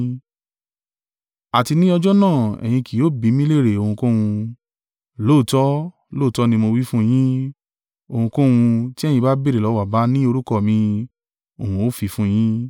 Àti ní ọjọ́ náà ẹ̀yin kì ó bi mí lérè ohunkóhun. Lóòótọ́, lóòótọ́ ni mo wí fún yín, ohunkóhun tí ẹ̀yin bá béèrè lọ́wọ́ Baba ní orúkọ mi, òhun ó fi fún yín.